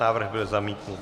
Návrh byl zamítnut.